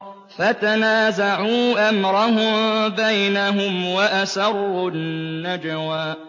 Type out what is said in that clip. فَتَنَازَعُوا أَمْرَهُم بَيْنَهُمْ وَأَسَرُّوا النَّجْوَىٰ